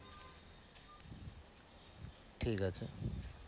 ঠিক আছে,